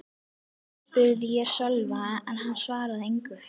spurði ég Sölva en hann svaraði engu.